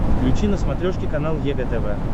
включи на смотрешке канал егэ тв